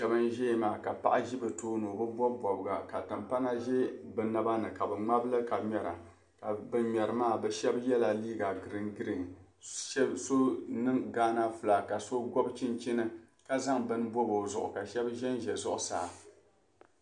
shɛba n-ʒia maa ka paɣa ʒi bɛ tooni o bi bɔbi bɔbiga ka timpana za bɛ naba ni ka bɛ ŋmabi li ka ŋmɛra ka ban ŋmɛri maa bɛ shɛba yɛla liig giringirin so niŋ ghana fulaaki ka so gɔbi chinchini ka zaŋ bini bɔbi o zuɣu ka shɛba zanza zuɣusaa